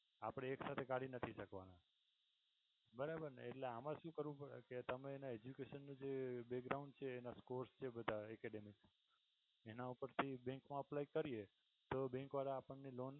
આપણે એક સાથે કાઢી નથી શકવાના બરાબર ને એટલે આમાં શું કરવું પડે કે તમે એને education ની છે એના score છે બધા academic એના ઉપર થી bank મા apply કરીએ તો bank વાળા આપણને loan